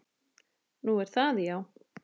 Nú, er það já.